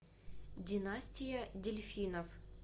династия дельфинов